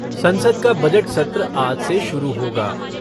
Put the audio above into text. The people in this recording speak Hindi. संसद का बजट सत्र आज से शुरू होगा।